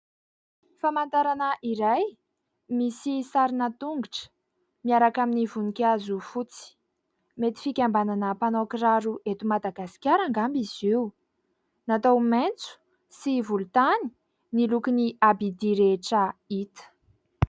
Famantarana iray misy sarina tongotra, miaraka amin'ny voninkazo fotsy; mety fikambanana mpanao kiraro eto Madagasikara angamba izy io; natao maitso sy volontany ny lokony abidia rehetra hita.